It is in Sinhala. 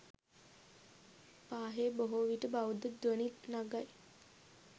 පාහේ බොහෝ විට බෞද්ධ ධ්වනි නගයි.